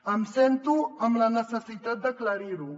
em sento amb la necessitat d’aclarir ho